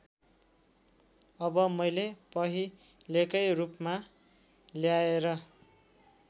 अब मैले पहिलेकै रूपमा ल्याएर